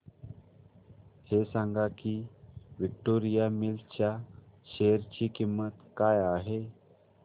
हे सांगा की विक्टोरिया मिल्स च्या शेअर ची किंमत काय आहे